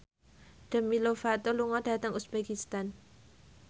Demi Lovato lunga dhateng uzbekistan